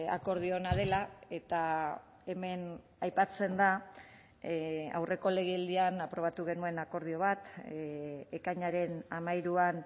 akordio ona dela eta hemen aipatzen da aurreko legealdian aprobatu genuen akordio bat ekainaren hamairuan